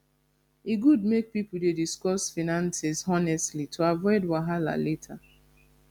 e good make pipo dey discuss finances honestly to avoid wahala later